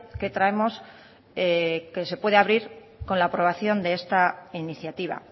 que traemos que se puede abrir con la aprobación de esta iniciativa